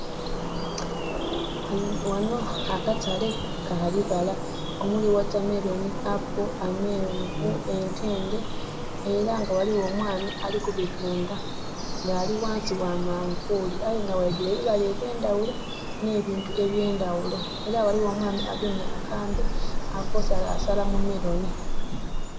Ghano akatale ka bibala omuli watermelon, apple, amenvu, entende era nga ghaliwo omwami ali kubitunda ngali wansi wa manvuli aye nga waidwire ebibala ebyendawulo ne bintu ebyendawulo era waliwo omwami agemye akambe avo salasala mu melon